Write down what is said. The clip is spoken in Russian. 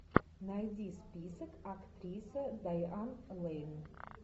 найди список актриса дайан лэйн